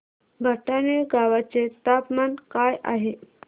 भटाणे गावाचे तापमान काय आहे